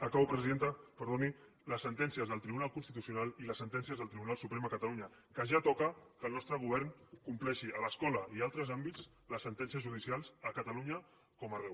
acabo presidenta perdoni les sentències del tribunal constitucional i les sentències del tribunal suprem a catalunya que ja toca que el nostre govern compleixi a l’escola i a altres àmbits les sentències judicials a catalunya com arreu